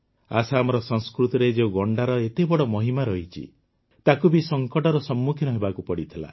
ଆସାମର ସଂସ୍କୃତିରେ ଯେଉଁ ଗଣ୍ଡାର ଏତେ ବଡ଼ ମହିମା ରହିଛି ତାକୁ ବି ସଙ୍କଟର ସମ୍ମୁଖୀନ ହେବାକୁ ପଡ଼ିଥିଲା